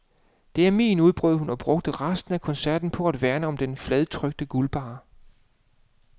Det er min, udbrød hun og brugte resten af koncerten på at værne om den fladtrykte guldbarre.